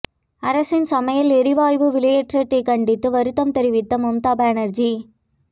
அரசின் சமையல் எரிவாயு விலையேற்றத்தை கண்டித்து வருத்தம் தெரிவித்த மம்தா பானர்ஜி